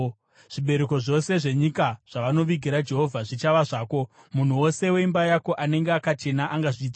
Zvibereko zvose zvenyika zvavanovigira Jehovha zvichava zvako. Munhu wose weimba yako anenge akachena angazvidya.